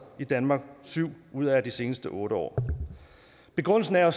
i danmark i syv ud af de seneste otte år begrundelsen er